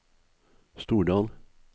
Stordal